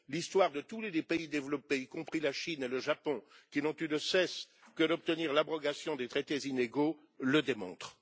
L'histoire de tous les pays développés, y compris la Chine et le Japon, qui n'ont eu de cesse que d'obtenir l'abrogation des traités inégaux, le démontre.